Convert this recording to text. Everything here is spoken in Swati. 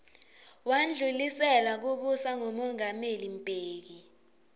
wandlulisela kubusa kumongameli mbeki